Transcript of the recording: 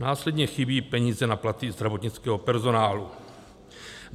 Následně chybí peníze na platy zdravotnického personálu.